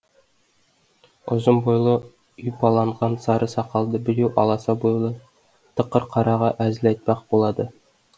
ұзын бойлы ұйпаланған сары сақалды біреу аласа бойлы тықыр қараға әзіл айтпақ болады